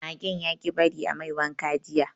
Magen yaƙi bari a mai wanka jiya